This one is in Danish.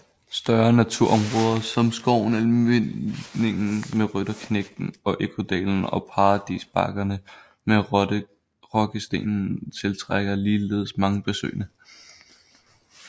Større naturområder som skoven Almindingen med Rytterknægten og Ekkodalen og Paradisbakkerne med Rokkestenen tiltrækker ligeledes mange besøgende